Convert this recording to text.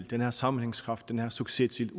den her sammenhængskraft den her succes til